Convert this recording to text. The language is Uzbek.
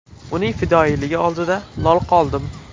Uning fidoyiligi oldida lol qoldim.